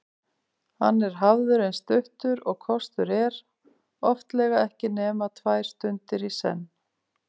Hann er hafður eins stuttur og kostur er, oftlega ekki nema tvær stundir í senn.